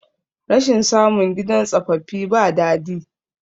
rashin samun gidan tsafaffi ba dadi